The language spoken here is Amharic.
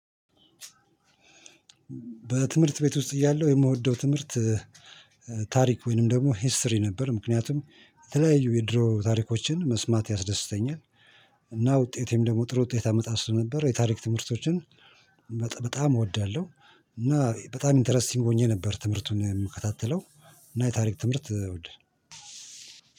በትምህርት ቤት ውስጥ እያለሁ የምወደው ትምህርት ታሪክ ወይንም ደግሞ ሂስትሪ ነበር ምክንያቱም የተለያዩ የድሮ ታሪኮችን መስማት ያስደስተኛል። እና ውጤቴም ደግሞ ጥሩ ውጤት አመጣ ስለነበረ የታሪክ ትምህርቶችን በጣም እወዳለሁ። እና በጣም ኢንተረስቲንግ ሆኜ ነበር ትምህርቱን የምከታተለው። እና የታሪክ ትምህርት እወዳ